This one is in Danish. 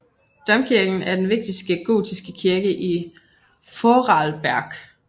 Domkirken er den vigtigste gotiske kirke i Vorarlberg